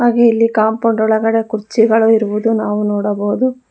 ಹಾಗೇ ಇಲ್ಲಿ ಕಾಂಪೌಂಡ್ ಒಳಗಡೆ ಕುರ್ಚಿಗಳು ಇರುವುದು ನಾವು ನೋಡಬಹುದು.